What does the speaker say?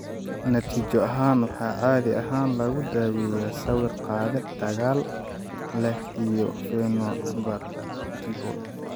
Natiijo ahaan, waxaa caadi ahaan lagu daaweeyaa sawir qaade dagaal leh iyo phenobarbitol.